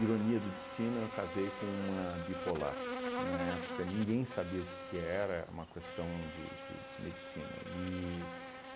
Ironia do destino, eu casei com uma bipolar, que na época ninguém sabia o que que era, era uma questão de de de medicina. E